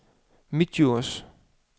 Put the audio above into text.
Midtdjurs